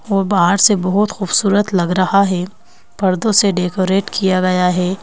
और बाहर से बहुत खूबसूरत लग रहा है पर्दों से डेकोरेट किया गया है।